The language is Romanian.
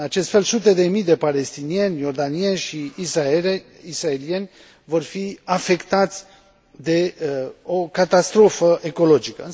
În acest fel, sute de mii de palestinieni, iordanieni și israelieni vor fi afectați de o catastrofă ecologică.